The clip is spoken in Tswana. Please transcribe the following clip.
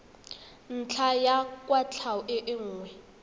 ntlha ya kwatlhao e nngwe